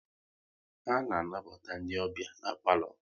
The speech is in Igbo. A na anabata ndị ọbịa n'palo